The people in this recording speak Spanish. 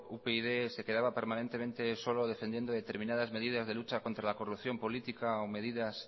upyd se quedaba permanentemente solo defendiendo determinadas medidas de lucha contra la corrupción política o medidas